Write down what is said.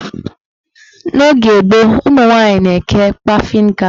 N'oge gboo, ụmụnwanyị na-eke kpafin gas.